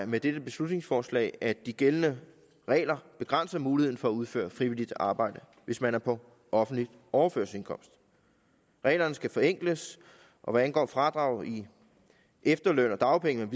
med dette beslutningsforslag at de gældende regler begrænser muligheden for at udføre frivilligt arbejde hvis man er på offentlig overførselsindkomst reglerne skal forenkles og hvad angår fradraget i efterløn og dagpenge